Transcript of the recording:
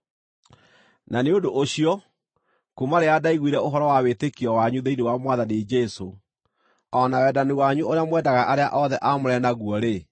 Na nĩ ũndũ ũcio, kuuma rĩrĩa ndaiguire ũhoro wa wĩtĩkio wanyu thĩinĩ wa Mwathani Jesũ, o na wendani wanyu ũrĩa mwendaga arĩa othe aamũre naguo-rĩ,